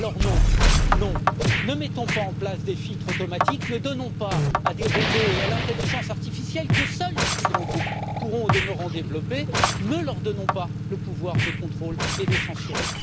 Alors non, ne mettons pas en place des filtres automatiques, ne donnons pas à des robots et à l'intelligence artificielle que seuls les plus grands groupes pourront au demeurant développer le pouvoir de contrôler et de censurer.